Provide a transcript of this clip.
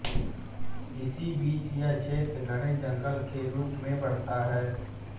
इसी बीच यह क्षेत्र घने जंगल के रूप में बढ़ता रहा